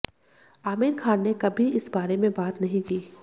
आमिर खान ने कभी इस बारे में बात नहीं की